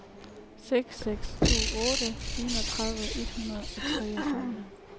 seks seks to otte enogtredive et hundrede og treogtredive